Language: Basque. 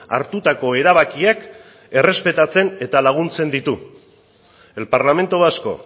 hartutako erabakiak errespetatzen eta laguntzen ditu el parlamento vasco